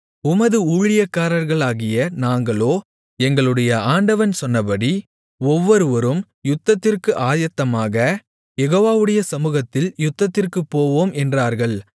உமது ஊழியக்காரர்களாகிய நாங்களோ எங்களுடைய ஆண்டவன் சொன்னபடி ஒவ்வொருவரும் யுத்தத்திற்கு ஆயத்தமாக யெகோவாவுடைய சமுகத்தில் யுத்தத்திற்குப் போவோம் என்றார்கள்